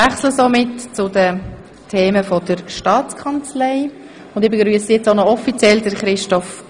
Damit kommen wir zu den Geschäften der STA.